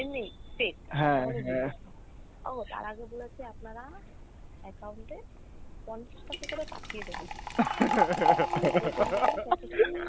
এমনেই fake ও তার আগে বলেছে আপনারা account এ পঞ্চাশ টাকা করে পাঠিয়ে দেবেন